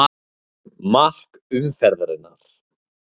Mark umferðarinnar?